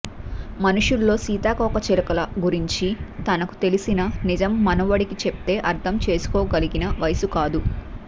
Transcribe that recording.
మనుషుల్లో సీతాకోకచిలుకల గురించి తనకు తెలిసిన నిజం మనవడికి చెప్తే అర్థం చేసుకోగలిగిన వయసు కాదు